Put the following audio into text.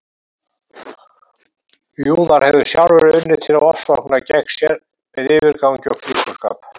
Júðar hefðu sjálfir unnið til ofsókna gegn sér með yfirgangi og klíkuskap.